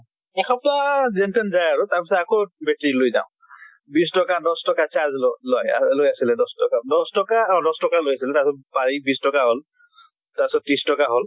এসপ্তাহ যেন তেন যায় আৰু, তাৰ পিছত আকৌ battery লৈ যাওঁ। বিছ টকা দশ ট্কা charge ল লয়। লৈ আছিলে দশ টকা দশ টকা , অ দশ টকা লৈ আছিল। তাৰ পিছত বাঢ়ি বিছ টকা হʼল। তাৰ পিছত ত্ৰিছ টকা হʼল।